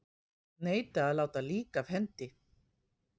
Neita að láta lík af hendi